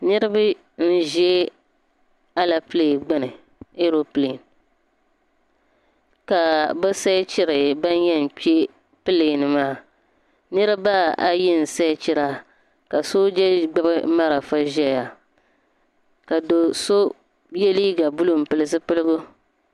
Niriba n-za alepile gbini ka bɛ seechiri ban yɛn kpe alepile maa niriba ayi n-seechira ka sooja gbibi malifa zaya ka do' so ye liiga buluu m-pili zipiligu.